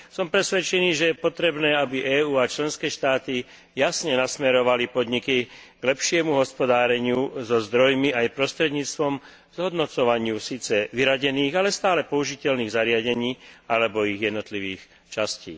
Som presvedčený, že je potrebné, aby EÚ a členské štáty jasne nasmerovali podniky k lepšiemu hospodáreniu so zdrojmi aj prostredníctvom zhodnocovania síce vyradených, ale stálych použiteľných zariadení alebo ich jednotlivých častí.